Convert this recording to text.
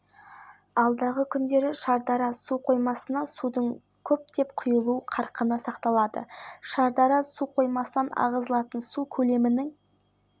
алматыда күн ала бұлтты жауын-шашынсыз жел градус атырауда қолға түсіру жоспары аса ауыр қылмысты жасады деген